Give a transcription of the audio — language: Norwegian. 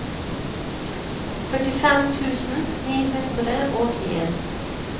førtifem tusen ni hundre og en